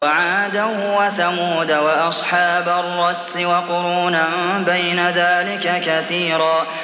وَعَادًا وَثَمُودَ وَأَصْحَابَ الرَّسِّ وَقُرُونًا بَيْنَ ذَٰلِكَ كَثِيرًا